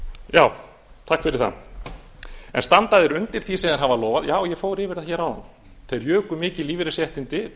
já takk fyrir það en standa þeir undir því þegar það var lofað já ég fór yfir það hér áðan þeir juku mikið lífeyrisréttindi